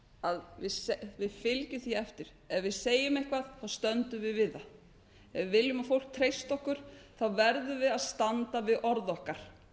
að við fylgjum því eftir að ef við segjum eitthvað þá stöndum við við það ef við viljum að fólk treysti okkur verðum við að standa við orð okkar